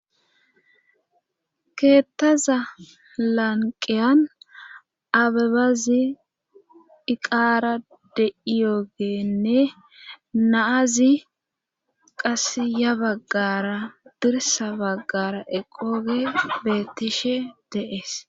keettaza lanqiyan abebazi iqaara de7iyoogenne naazi qasiya baggara dirsa baggara eqooge beettishe deees